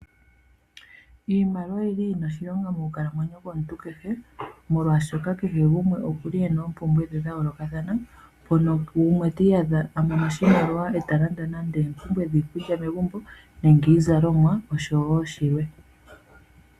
Iimaliwa oyili yina oshilonga moku kalamwenyo yomuntu kehe molwashoka kehe gumwe okuli ena oompumbwe dhe dha yoolokathana. Mpono gumwe ti iyadha amono oshimaliwa nde ta landa nande oompumbwe dhiikulya megumbo nenge iizalomwa osho wo shilwe.